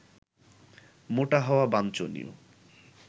মোটা হওয়া বাঞ্ছনীয়